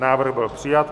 Návrh byl přijat.